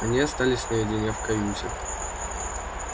они остались наедине в каюте